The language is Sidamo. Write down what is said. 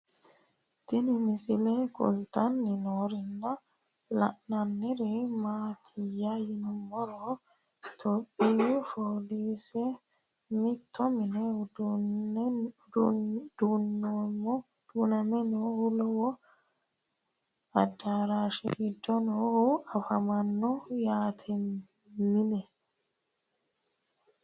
Tinni misile kulittanni noorrinna la'nanniri maattiya yinummoro ithiopiyu foolisse mitto minne duunnamme noohu lowo adarashshe giddo noohu afammanno yatte mine